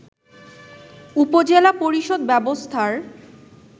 উপজেলা পরিষদ ব্যবস্থার